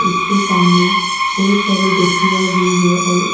उसके सामने बहुत सारे गछिया भी है और --